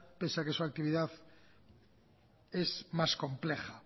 pese a que se actividad es más compleja